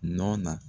Nɔ na